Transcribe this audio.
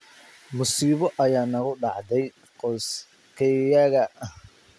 Masiibo ayaa nagu dhacday qoyskayaga.